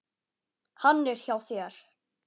Hann er hjá þér.